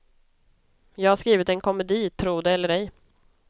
Jag har skrivit en komedi, tro det eller ej.